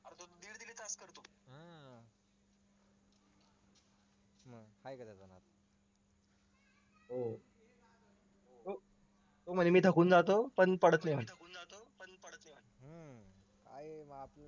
म्हणे मी थकून जातो पण